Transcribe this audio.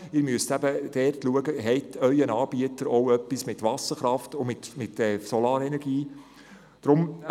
Sie müssten prüfen, ob Ihr Anbieter ein Angebot mit Wasserkraft und Solarenergie führt.